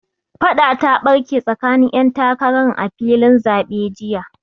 Faɗa ta ɓarke tsakanin 'yan takaran a filin zaɓe jiya.